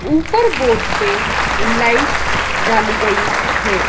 ऊपर बोर्ड पे लाइट डाली गयी है।